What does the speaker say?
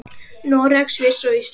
Noreg, Sviss og Ísland.